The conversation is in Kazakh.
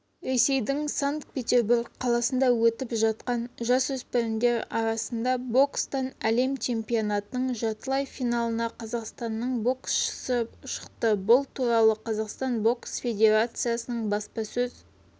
ресейдің санкт-петербург қаласында өтіп жатқан жасөспірімдер арасында бокстан әлем чемпионатының жартылай финалына қазақстанның боксшысы шықты бұл туралы қазақстан бокс федерациясының баспасөз